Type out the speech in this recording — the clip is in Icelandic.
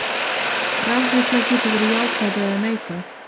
Rafhleðsla getur verið jákvæð eða neikvæð.